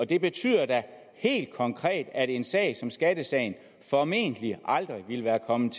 det betyder da helt konkret at en sag som skattesagen formentlig aldrig ville være kommet